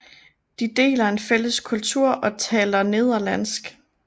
De deler en fælles kultur og taler nederlandsk